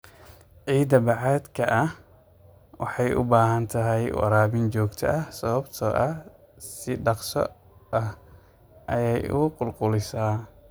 Ciida bacaadka ah waxay u baahan tahay waraabin joogto ah sababtoo ah si dhakhso ah ayay u qulqulaysaa.